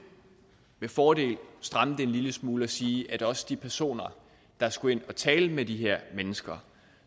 med fordel stramme det en lille smule og sige at også de personer der skal ind og tale med de her mennesker